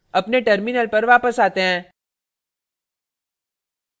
अपने terminal पर वापस आते हैं